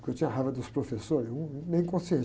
Porque eu tinha raiva dos professores, hum, hum, meio.